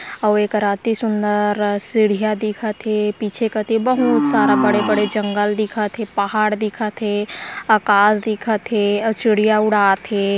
और एकरा एती सुंदर सीढ़ियाँ दिखत है पीछे कती बहुत सारा बड़े-बड़े जंगल दिखत है पहाड़ दिखत है आकाश दिखत है और चिड़िया उड़ात है।